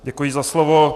Děkuji za slovo.